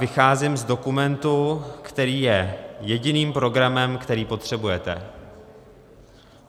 Vycházím z dokumentu , který je jediným programem, který potřebujete.